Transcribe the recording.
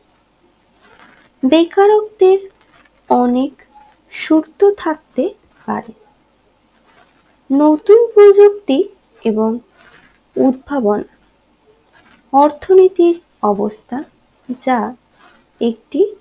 বেকারত্বের অনেক সূরত থাকতে পারে নতুন প্রযুক্তি এবং উৎভাবন অর্থনীতি অবস্থা যা একটি